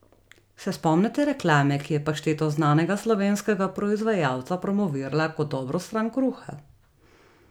Se spomnite reklame, ki je pašteto znanega slovenskega proizvajalca promovirala kot dobro stran kruha?